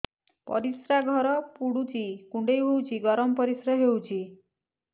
ପରିସ୍ରା ଘର ପୁଡୁଚି କୁଣ୍ଡେଇ ହଉଚି ଗରମ ପରିସ୍ରା ହଉଚି